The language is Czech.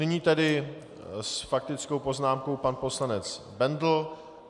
Nyní tedy s faktickou poznámkou pan poslanec Bendl.